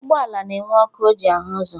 Ụgbọala na-enwe ọkụ o ji ahụ ụzọ